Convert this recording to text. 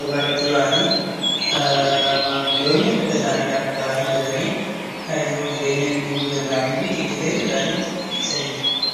gabaa irratti bahanii, maamiltoinni fadha isaanii dhaan bahanii bitatanii jiruuf jireenya guyya guyyaa isaanii fi idilee isaanii ittiin geggeessan jechuu dha.